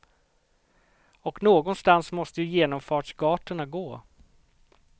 Och någonstans måste ju genomfartsgatorna gå.